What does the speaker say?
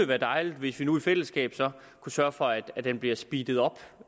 være dejligt hvis vi nu i fællesskab kunne sørge for at den bliver speedet op